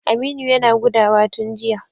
Aminu yana gudawa tun jiya.